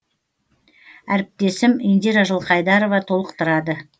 әріптесім индира жылқайдарова толықтырады